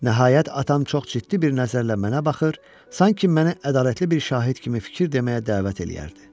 Nəhayət, atam çox ciddi bir nəzərlə mənə baxır, sanki məni ədalətli bir şahid kimi fikir deməyə dəvət eləyərdi.